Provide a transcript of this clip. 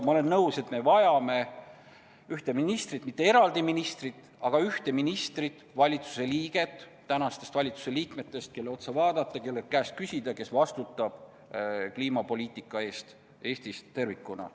Ma olen nõus, et me vajame ühte ministrit, mitte eraldi ministrit, aga ühte ministrit, valitsuse liiget, kelle otsa vaadata, kelle käest küsida, kes vastutab kliimapoliitika eest Eestis tervikuna.